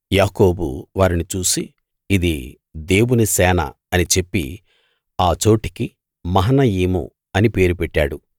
యాకోబు వారిని చూసి ఇది దేవుని సేన అని చెప్పి ఆ చోటికి మహనయీము అని పేరు పెట్టాడు